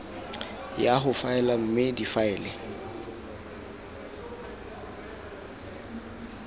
ya go faela mme difaele